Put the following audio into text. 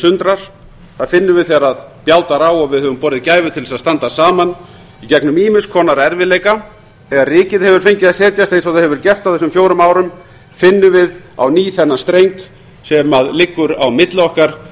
sundrar það finnum við þegar bjátar á og við höfum borið gæfu til að standa saman í gegnum ýmiss konar erfiðleika þegar rykið hefur fengið að setjast eins og það hefur gert á þessum fjórum árum finnum við á ný þennan streng sem liggur á milli okkar